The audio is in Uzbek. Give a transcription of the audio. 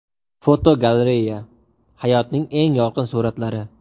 Fotogalereya: Hayotning eng yorqin suratlari.